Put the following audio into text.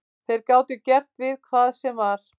Þeir gátu gert við hvað sem var.